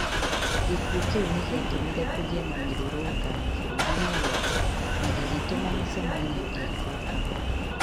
Gĩkuũ kĩu nĩ gĩatũmire kũgĩe namĩrũrũngano bũrũri-inĩ wothe na gĩgĩtũma mĩcemanio ikwo kahora